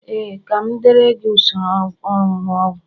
ee, ka m deere gị usoro onunu ogwu